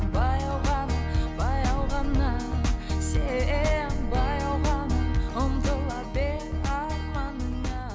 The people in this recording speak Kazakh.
баяу ғана баяу ғана сен баяу ғана ұмтыла арманыңа